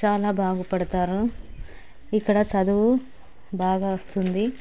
చాలా బాగుపడతారు ఇక్కడ చదువు బాగా వస్తుంది.